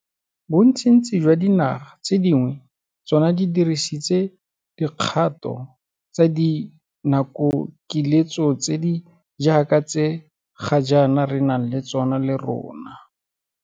Bontsintsi jwa dinaga tse dingwe tsona di dirisitse dikgato tsa dinakokiletso tse di jaaka tse ga jaana re nang le tsona le rona.